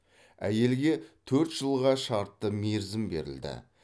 әйелге төрт жылға шартты мерзім берілді